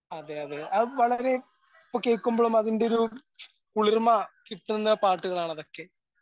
അതെയതെ അത് വളരെ ഇപ്പ്കേക്കുമ്പഴും അതിന്റൊരു കുളിർമ കിട്ടുന്ന പാട്ടുകളാണ് അതൊക്കെ.